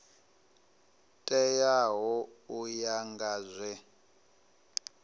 teaho u ya nga zwe